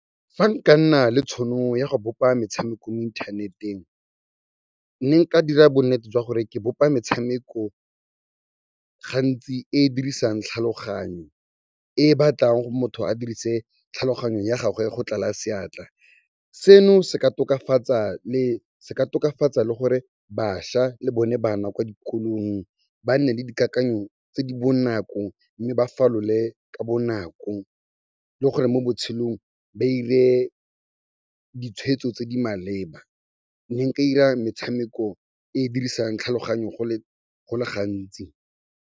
Fa nka nna le tšhono ya go bopa metshameko mo inthaneteng, nne nka dira bonnete jwa gore ke bopa metshameko gantsi e dirisang tlhaloganyo, e batlang motho a dirise tlhaloganyo ya gagwe go tlala seatla. Seno se ka tokafatsa le gore bašwa le bone bana kwa dikolong ba nne le dikakanyo tse di bonako mme ba falole ka bonako le gore mo botshelong ba dire ditshweetso tse di maleba. Ne nka dira metshameko e dirisang tlhaloganyo go le gantsi.